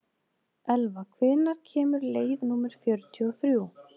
Elva, hvenær kemur leið númer fjörutíu og þrjú?